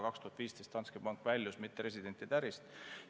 2015 Danske Bank väljus mitteresidentide ärist.